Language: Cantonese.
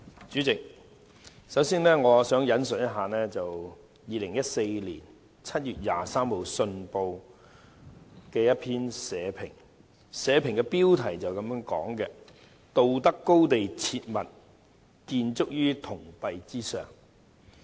主席，我首先引述2014年7月23日的《信報》社評，標題是"道德高地切勿建築於銅幣之上"。